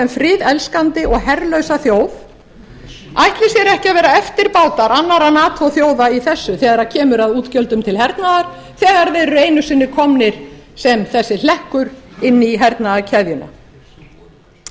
friðelskandi og herlausa þjóð ætli sér ekki að vera eftirbátar annarra nato þjóða í þessu þegar kemur að útgjöldum til hernaðar þegar þeir eru einu sinni komnir sem þessi hlekkur inn í hernaðarkeðjuna ég